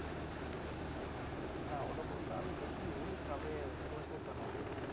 না ওরকমটা আমি দেখিনি তবে খোঁজ নিতে হবে